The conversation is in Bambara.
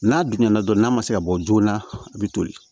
N'a dun ɲɛna dɔrɔn n'a ma se ka bɔ joona a bi toli